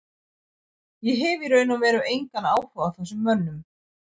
Ég hef í raun og veru engan áhuga á þessum mönnum.